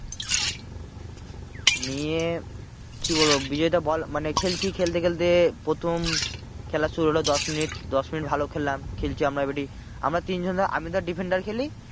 নিয়ে কি বলবো বিজয় দা বল মানে খেলছি খেলতে খেলতে প্রথম খেলা শুরু হলো দশ মিনিট, দশ মিনিট ভালো খেললাম। খেলছি আমরা এবারে আমরা তিনজন ধর আমি ধর defender খেলি